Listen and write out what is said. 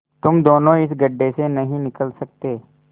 तुम दोनों इस गढ्ढे से नहीं निकल सकते